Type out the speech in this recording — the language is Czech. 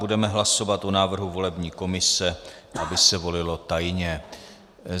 Budeme hlasovat o návrhu volební komise, aby se volilo tajně.